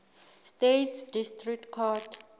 states district court